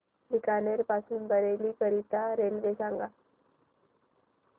बीकानेर पासून बरेली करीता रेल्वे सांगा